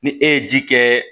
Ni e ye ji kɛ